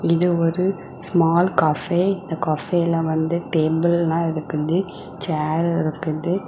இது ஒரு small cafe . இந்தக் கஃபேல வந்து டேபிள்லா இருக்குது. சேர் இருக்குது.